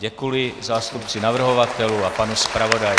Děkuji zástupci navrhovatelů a panu zpravodaji.